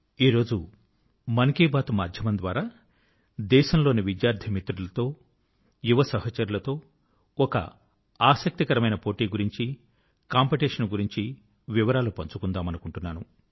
ఈ రోజు మన్ కీ బాత్ మాధ్యమం ద్వారా దేశంలోని విద్యార్థి మిత్రులతో యువ సహచరులతో ఒక ఆసక్తికరమైన పోటీ గురించి కాంపిటీషన్ గురించి వివరాలు పంచుకుందామనుకుంటున్నాను